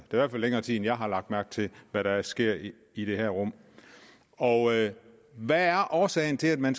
hvert fald længere tid end jeg har lagt mærke til hvad der sker i i det her rum og hvad er årsagen til at man